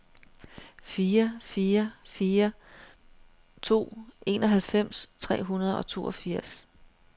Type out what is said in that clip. fire fire fire to enoghalvfems tre hundrede og toogfirs